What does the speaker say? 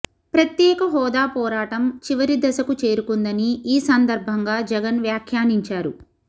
ప్రత్యేక హోదా పోరాటం చివరి దశకు చేరుకుందని ఈ సందర్భంగా జగన్ వ్యాఖ్యానించారు